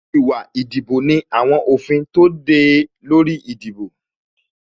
Ìwà ìdìbò ní àwọn òfin tó de e lórí ìdìbò